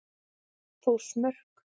Þórsmörk